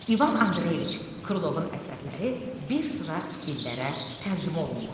İvan Andreyeviç Krılovun əsərləri bir sıra dillərə tərcümə olunmuşdu.